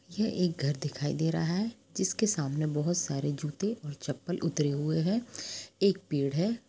ये एक घर दिखाई दे रहा है जिसके सामने बहुत सारे जुत्ते और चप्पल उतरे हुए है एक पेड़ है।